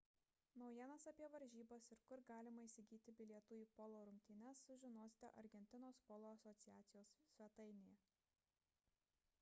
naujienas apie varžybas ir kur galima įsigyti bilietų į polo rungtynes sužinosite argentinos polo asociacijos svetainėje